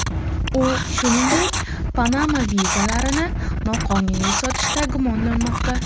U, shuningdek, Panama vizalarini noqonuniy sotishda gumonlanmoqda.